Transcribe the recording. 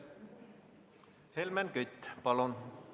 Helmen Kütt, palun!